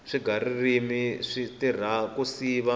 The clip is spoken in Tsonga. swiga ririmi swi tirha ku siva